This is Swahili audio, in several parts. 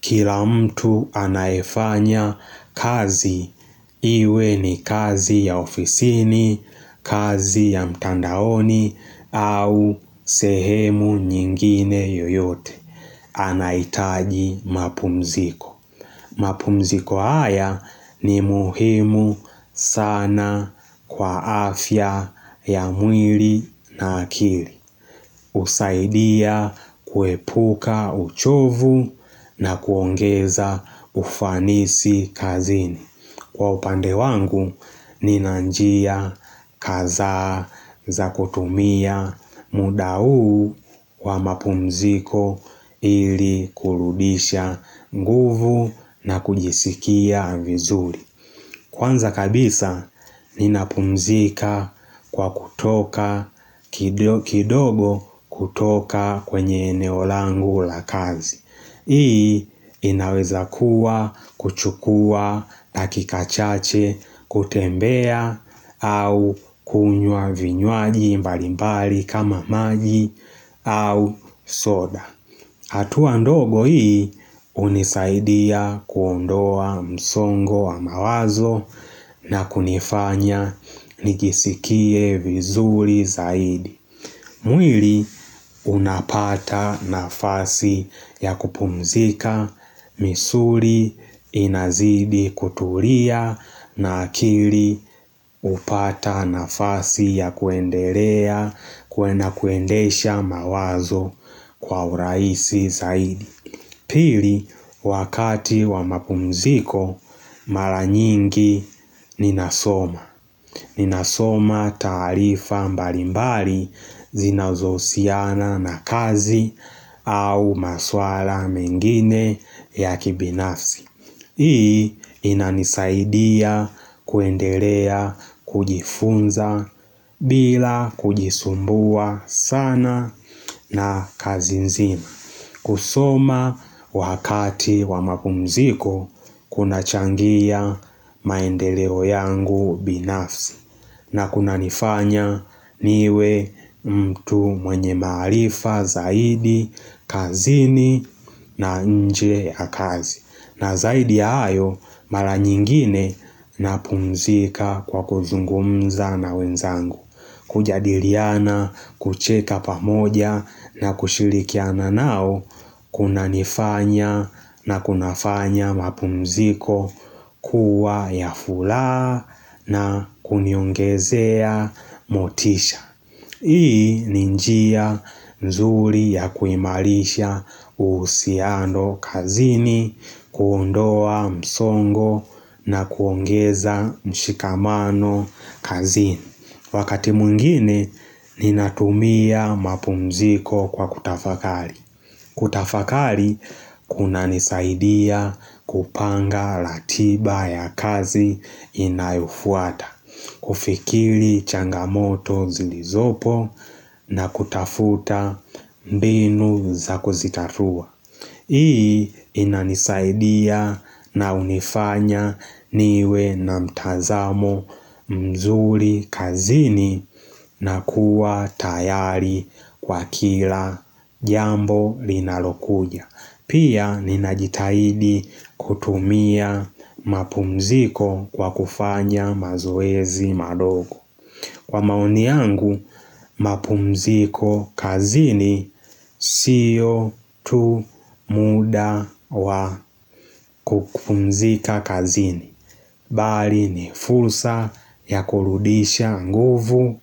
Kila mtu anayefanya kazi, iwe ni kazi ya ofisini, kazi ya mtandaoni au sehemu nyingine yoyote, anaitaji mapumziko. Mapumziko haya ni muhimu sana kwa afya ya mwili na akili. Usaidia kuepuka uchovu na kuongeza ufanisi kazini. Kwa upande wangu, ninanjia kaza za kutumia muda huu kwa mapumziko ili kurudisha nguvu na kujisikia vizuri. Kwanza kabisa, ninapumzika kwa kutoka, kidogo kutoka kwenye eneo langu la kazi. Hii, inaweza kuwa, kuchukua, dakika chache, kutembea, au kunywa vinywaji mbalimbali kama maji, au soda. Hatuwa mdogo hii unisaidia kuondoa msongo wa mawazo na kunifanya nijisikie vizuri zaidi. Mwili unapata nafasi ya kupumzika misuli inazidi kutulia na akili upata nafasi ya kuendelea kuena kuendesha mawazo kwa uraisi zaidi. Pili wakati wa mapumziko mara nyingi ninasoma Ninasoma tarifa mbalimbali zinazohusiana na kazi au maswala mengine ya kibinafsi Hii inanisaidia kuendelea kujifunza bila kujisumbua sana na kazi nzima kusoma wakati wa mapumziko, kuna changia maendeleo yangu binafsi. Na kuna nifanya niwe mtu mwenye maarifa, zaidi, kazini na nje ya kazi. Na zaidi ayo, mara nyingine na pumzika kwa kuzungumza na wenzangu. Kujadiliana kucheka pamoja na kushirikiana nao kuna nifanya na kuna fanya mapumziko kuwa ya furaha na kuniongezea motisha Hii ni njia nzuri ya kuimarisha uhusiano kazini kuondoa msongo na kuongeza mshikamano kazini Wakati mwingine ninatumia mapumziko kwa kutafakari. Kutafakari kuna nisaidia kupanga ratiba ya kazi inayofuata. Kufikiri changamoto zilizopo na kutafuta mbinu za kuzitatua. Hii inanisaidia na unifanya niwe na mtazamo mzuri kazini na kuwa tayari kwa kila jambo linalokuja. Pia ninajitahidi kutumia mapumziko kwa kufanya mazoezi madogo. Kwa maoni yangu, mapumziko kazini siyo tu muda wa kupumzika kazini. Bali ni fulsa ya kurudisha nguvu,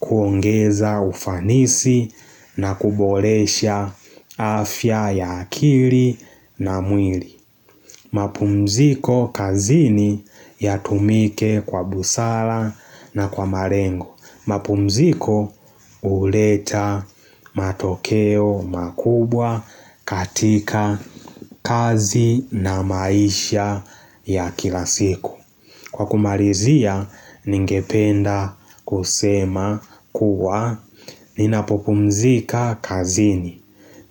kuongeza ufanisi na kuboresha afya ya akili na mwili. Mapumziko kazini ya tumike kwa busara na kwa malengo. Mapumziko huleta matokeo makubwa katika kazi na maisha ya kilasiku Kwa kumalizia ningependa kusema kuwa Ninapopumzika kazini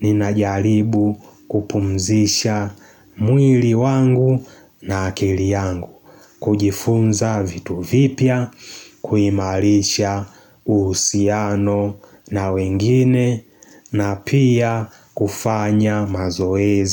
Ninajaribu kupumzisha mwili wangu na akili yangu kujifunza vitu vipya, kuimarisha uhusiano na wengine na pia kufanya mazoezi.